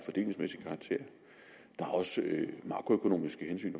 af også makroøkonomiske hensyn